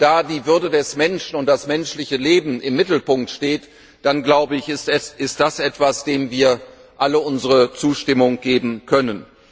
Und wenn da die Würde des Menschen und das menschliche Leben im Mittelpunkt stehen, dann ist das etwas, dem wir alle unsere Zustimmung geben können.